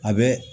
A bɛ